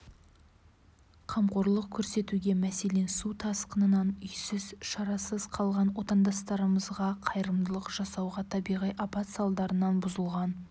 қамқорлық көрсетуге мәселен су тасқынынан үйсіз шарасыз қалған отандастарымызға қайырымдылық жасауға табиғи апат салдарынан бұзылған